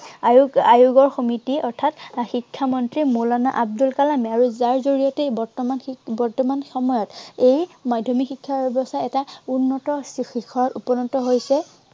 আহ আয়োগ আয়োগৰ সিমিতি অৰ্থাৎ শিক্ষা মন্ত্ৰী মৌলানা আব্দুল কালামে। আৰু যাৰ জড়িয়তে বৰ্তমান সেই বৰ্তমান সময়ত এই মাধ্য়মিক শিক্ষা ব্য়ৱস্থা এটা উন্নত শিখৰত উপনত হৈছে।